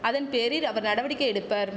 அதன் பேரிர் அவர் நடவடிக்கை எடுப்பர்